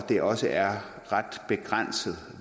det også er ret begrænset